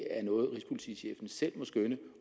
er noget rigspolitichefen selv må skønne